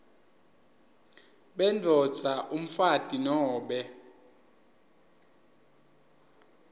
bendvodza umfati nobe